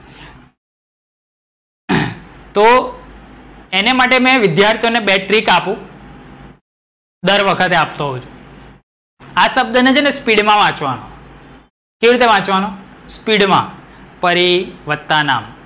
તો એને માટે વિધ્યાર્થીઓ ને બે trick આપું ર વખતે આપતો હોઉ છું. આ શબ્દ ને છે ને speed માં વાંચવાનો કેવી રીતે વાંચવાનો speed માં પરિ વત્તા નામ.